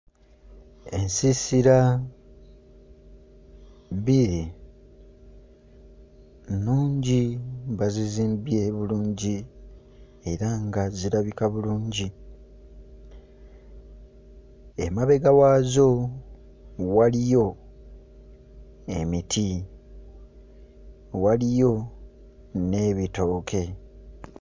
Ensiisira bbiri, nnungi, bazizimbye bulungi era nga zirabika bulungi. Emabega waazo waliyo emiti, waliyo n'ebitooke.